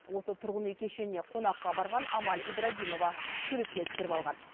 осы тұрғын үй кешеніне қонаққа барған амаль ибрагимова суретке түсіріп алған